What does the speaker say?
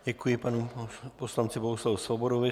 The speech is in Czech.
Děkuji panu poslanci Bohuslavu Svobodovi.